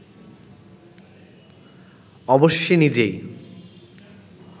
অবশেষে নিজেই